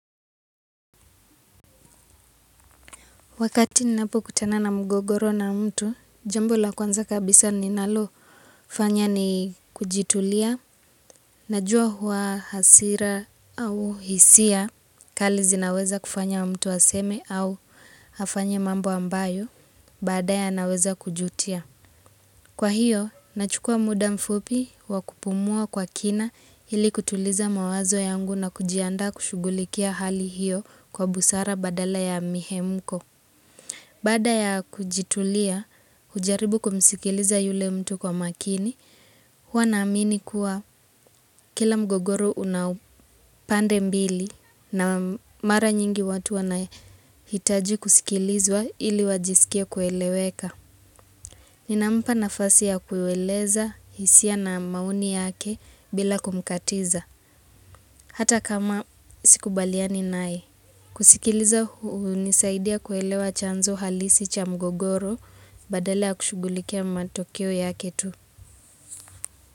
Wakati ninapo kutana na mgogoro na mtu, jambo la kwanza kabisa ninalo fanya ni kujitulia, najua hua hasira au hisia, kali zinaweza kufanya mtu aseme au afanye mambo ambayo, baadae anaweza kujutia. Kwa hiyo, nachukua muda mfupi wa kupumua kwa kina hili kutuliza mawazo yangu na kujiandaa kushugulikia hali hiyo kwa busara badala ya mihemko. Baada ya kujitulia, ujaribu kumsikiliza yule mtu kwa makini, huwa naamini kuwa kila mgogoro una pande mbili na mara nyingi watu wanahitaji kusikilizwa ili wajiskie kueleweka. Ninampa nafasi ya kuiweleza hisia na maoni yake bila kumkatiza, hata kama sikubaliani naye. Kusikiliza unisaidia kuelewa chanzo halisi cha mgogoro badala ya kushugulikia matokeo yake tu.